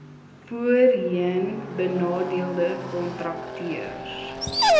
voorheen benadeelde kontrakteurs